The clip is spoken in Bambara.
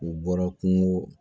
U bɔra kungo